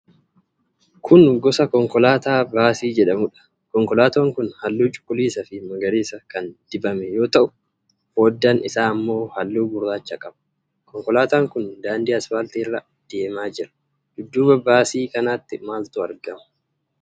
Kun gosa konkolaataa baasii jedhamudha. Konkolaataan kun halluu cuquliisa fi magariisa kan dibame yoo ta'u, foddaan isaa ammoo halluu guraacha qaba. Konkolaataan kun daandii aspaaltii irra deemaa jira. dudduuba baasii kanaatti maaltu argama?